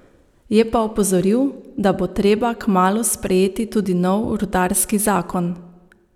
Je pa opozoril, da bo treba kmalu sprejeti tudi nov rudarski zakon.